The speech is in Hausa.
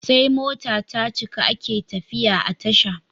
Sai mota tacika ake tafiya a tasha